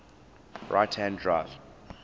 right hand drive